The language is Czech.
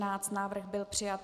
Návrh byl přijat.